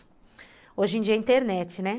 Hoje em dia é internet, né?